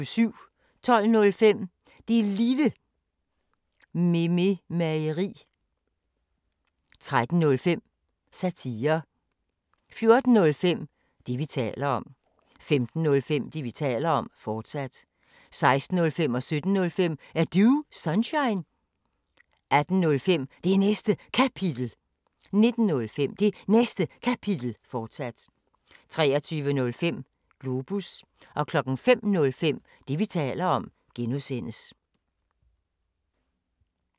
12:05: Det Lille Mememageri 13:05: Satire 14:05: Det, vi taler om 15:05: Det, vi taler om, fortsat 16:05: Er Du Sunshine? 17:05: Er Du Sunshine? 18:05: Det Næste Kapitel 19:05: Det Næste Kapitel, fortsat 23:05: Globus 05:05: Det, vi taler om (G)